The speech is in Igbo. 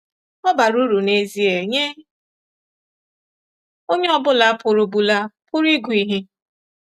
Ọ bara uru n’ezie nye onye ọ bụla pụrụ bụla pụrụ ịgụ ihe.